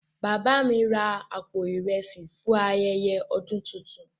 Baba mi ra àpò ìrẹsì fún ayẹyẹ ọdún tuntun.